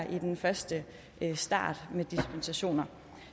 i den første start med dispensationer